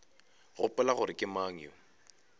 gopola gore ke mang yo